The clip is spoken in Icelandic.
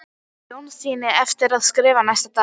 Jónssyni eftir að skrifa næsta dag.